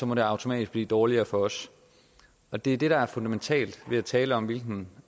må det automatisk blive dårligere for os og det er det der er fundamentalt ved at tale om hvilken